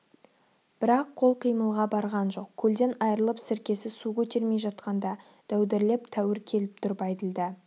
бірақ қол қимылға барған жоқ көлден айрылып сіркесі су көтермей жатқанда дәудірлеп тәуір келіп тұр бәйділда